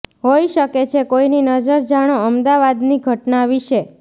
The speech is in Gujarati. હોઇ શકે છે કોઇની નજર જાણો અમદાવાદની ઘટના વિશે